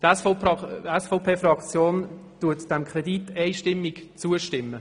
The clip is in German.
Die SVPFraktion stimmt dem Kredit einstimmig zu.